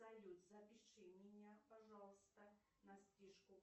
салют запиши меня пожалуйста на стрижку